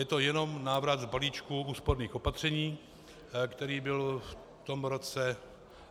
Je to jenom návrat k balíčku úsporných opatření, který byl v tom roce...